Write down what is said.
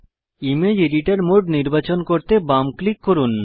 image editor mode নির্বাচন করতে বাম ক্লিক করুন